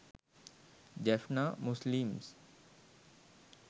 jaffna muslims